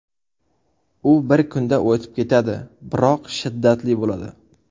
U bir kunda o‘tib ketadi, biroq shiddatli bo‘ladi.